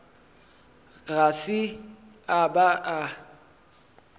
ga se a ba a